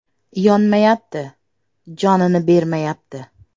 Yonmayapti, jonini bermayapti.